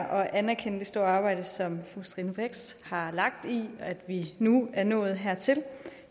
at anerkende det store arbejde som fru stine brix har lagt i at vi nu er nået hertil